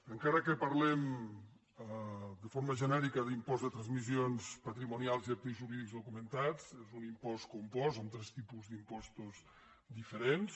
encara que parlem de forma genèrica d’impost de transmissions patrimonials i actes jurídics documentats és un impost compost amb tres tipus d’impostos diferents